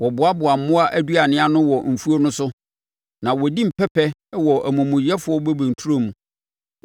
Wɔboaboa mmoa aduane ano wɔ mfuo no so na wɔdi mpɛpɛ wɔ amumuyɛfoɔ bobe nturo mu.